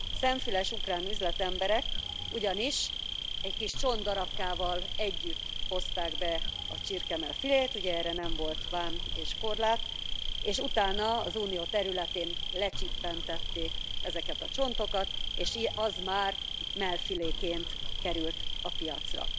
Szemfüles ukrán üzletemberek ugyanis egy kis csontdarabkával együtt hozták be a csirkemell filét, ugye erre nem volt vám és korlát, és utána az Unió területén lecsippentették ezeket a csontokat, és az már mellfiléként került a piacra.